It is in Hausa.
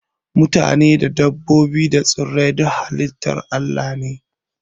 Matane, dabbobi da tsirrai duka halitar Allah ne